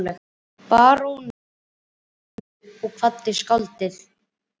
Baróninn stóð upp og kvaddi skáldið.